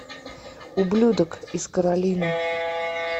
ублюдок из каролины